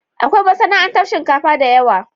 Akwai masana'antar shinkafa da yawa.